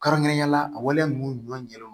Kɛrɛnkɛrɛnnenya la a waleya ninnu ɲɔn